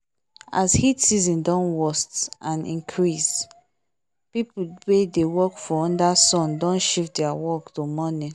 as heat season dey worst and increase people wey dey work for under sun don shift their work to morning